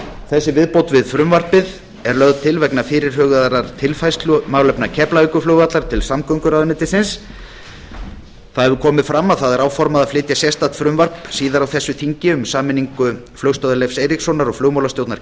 þessi viðbót við frumvarpið er lögð til vegna fyrirhugaðrar tilfærslu málefna keflavíkurflugvallar til samgönguráðuneytisins fram hefur komið að áformað er að flytja sérstakt frumvarp síðar á þessu þingi um sameiningu flugstöðvar leifs eiríkssonar og flugmálastjórnar